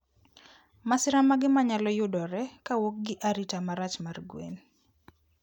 Masira mage manyalo yudore kowuok gi arita marach mar gwen?